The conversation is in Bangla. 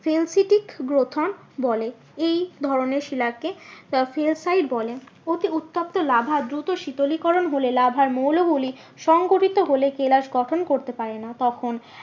Sensetic গ্রথন বলে এই ধরণের শিলাকে বলে। অতি উত্তপ্ত লাভা দূত শীতলীকরণ হলে লাভার মৌলগুলি সংগঠিত হলে কেলাস গঠন করতে পারে না তখন